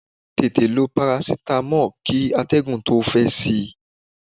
Tètè lo parasitamọ́ọ̀ kí atẹ́gùn tó fẹ́ sí í!